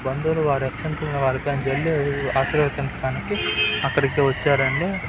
బంధువులు వారి అక్షింతలను ఆశీర్వదించడానికి అక్కడికి వచ్చారండి.